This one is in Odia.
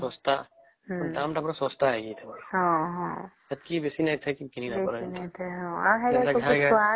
ପନି ପରିବା ତ ପୁରା ଶସ୍ତା ମାନେ ଦଫମ ତ ପୁରା ଶସ୍ତା ହେଇ ଯାଇଥିବା ସେତକୀ ବେଇ ନାଇଁ କିଣିବାର ନାଇଁ